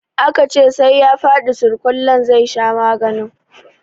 Aka ce sai ya fadi surkullen zai sha maganin?